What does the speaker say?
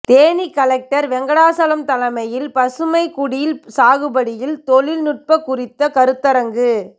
Theni collector Venkatachalam தலைமையில் பசுமைக்குடில் சாகுபடியில் தொழில் நுட்பம் குறித்த கருத்தரங்கு